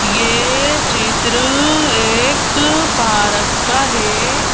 ये चित्र एक पारक का है--